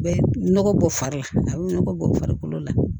Bɛ nɔgɔ bɔ fari la a bɛ nɔgɔ bɔ farikolo la